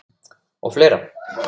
Og fleira.